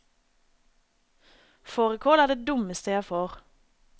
Fårikål er det dummeste jeg får.